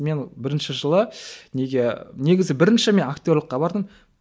мен бірінші жылы неге негізі бірінші мен актерлікке бардым